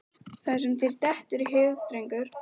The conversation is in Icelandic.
Það sem þér dettur í hug, drengur.